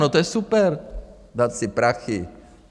No to je super, dát ty prachy.